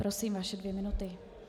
Prosím, vaše dvě minuty.